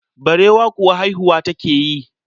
Barewa kuwa haihuwa take yi.